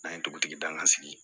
An ye dugutigi danga sigi